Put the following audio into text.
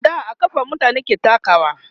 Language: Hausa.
a da a kafa mutane ke takawa